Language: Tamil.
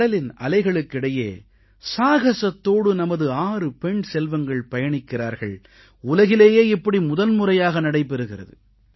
கடலின் அலைகளுக்கிடையே சாகஸத்தோடு நமது 6 பெண் செல்வங்கள் பயணிக்கிறார்கள் உலகிலேயே இப்படி முதல்முறையாக நடைபெறுகிறது